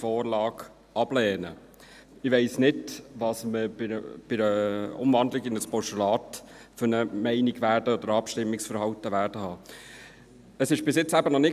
Ich weiss nicht, welche Meinung oder welches Abstimmungsverhalten wir bei Umwandlung in ein Postulat haben werden.